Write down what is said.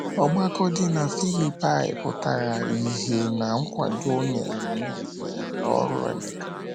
Ọgbakọ dị na Filipaị pụtara ìhè ná nkwado o nyere nyere oru Emeka.